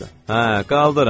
Hə, qaldırın!